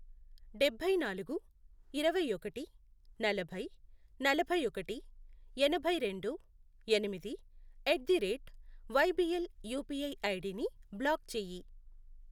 డబ్బై నాలుగు, ఇరవై ఒకటి, నలభై, నలభై ఒకటి, ఎనభై రెండు, ఎనిమిది, at the rate YBL UPI ఐడిని బ్లాక్ చేయి.